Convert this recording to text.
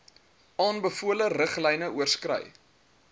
aanbevole riglyne oorskry